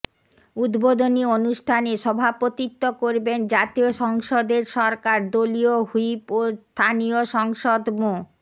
উদ্বোধনী অনুষ্ঠানে সভাপতিত্ব করবেন জাতীয় সংসদের সরকার দলীয় হুইপ ও স্থানীয় সংসদ মো